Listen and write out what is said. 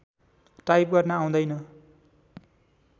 type गर्न आउँदैन